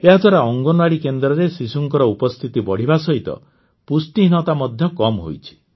ଏହାଦ୍ୱାରା ଅଙ୍ଗନୱାଡ଼ି କେନ୍ଦ୍ରରେ ଶିଶୁଙ୍କର ଉପସ୍ଥିତି ବଢ଼ିବା ସହିତ ପୁଷ୍ଟିହୀନତା ମଧ୍ୟ କମ୍ ହୋଇଛି